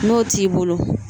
N'o t'i bolo